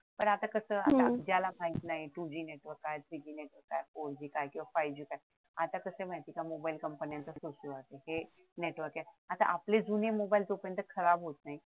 पण आता कसं ज्याला माहीत नाही की two G च काय three G च काय four G किंवा five G काय आता कसाय माहितीये का की मोबाईल कंपन्यांचं नेटवर्क आहे आता आपले जुने मोबाईल जोपर्यंत खराब होत नाहीत